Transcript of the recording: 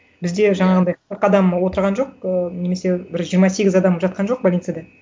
бізде жаңағындай қырық адам отырған жоқ ы немесе бір жиырма сегіз адам жатқан жоқ больницада